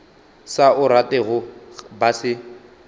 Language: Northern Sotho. sa o ratego ba se